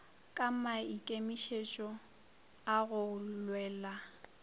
ka maikemišitšo a go lwela